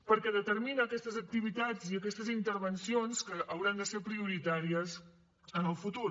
perquè determina aquestes activitats i aquestes intervencions que hauran de ser prioritàries en el futur